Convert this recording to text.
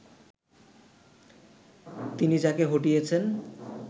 তিনি যাকে হটিয়েছেন